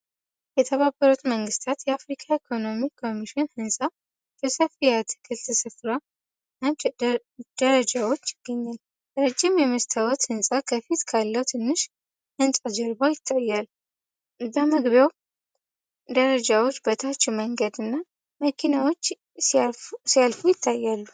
የተባበሩት መንግሥታት የአፍሪካ ኢኮኖሚክ ኮሚሽን ህንጻ በሰፊ የአትክልት ስፍራና ደረጃዎች ይገኛል። ረጅም የመስታዎት ህንጻ ከፊት ካለው ትንሽ ህንጻ ጀርባ ይታያል። በመግቢያው ደረጃዎች በታች መንገድና መኪናዎች ሲያልፉ ይታያሉ።